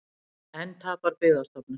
Enn tapar Byggðastofnun